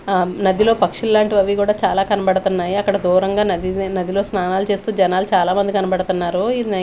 ఆ నదిలో పక్షులు లాంటివి అవి కూడా చాలా కనబడుతున్నాయి అక్కడ దూరంగా నదిని నదిలో స్నానాలు చేస్తూ జనాలు చాలామంది కనపడుతున్నారు ఇది.